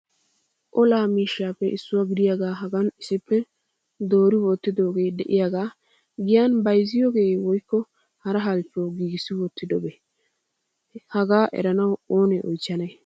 Olaa miishshappe issuwaa gidiyaaga hagan issippe doori wottidooge de'iyaaga giyan bayzziyooge woykko hara halchchuwaw giigissi wottidobee? Hagaa eranaw oonaa oychchanne?